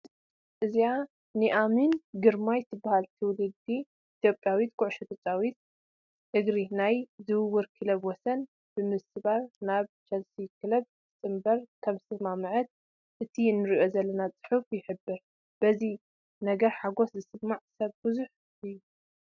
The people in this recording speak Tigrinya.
እዛ ኑኣሚን ግርማ ትበሃል ትውልደ ኢትዮጵያዊት ተፃወቲት ኩዕሾ እንሪ ናይ ዝውውር ክብረ ወሰን ብምስባር ናብ ቸልሲ ክለብ ክትፅምበር ከምዝተስማዕምዐት እቲ ንሪኦ ዘለና ፅሑፍ ይሕብር፡፡ በዚ ነገር ሓጐስ ዝስምዖ ሰብ ብዙሕ እዩ፡፡